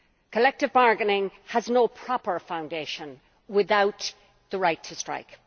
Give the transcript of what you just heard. Collective bargaining has no proper foundation without the right to strike.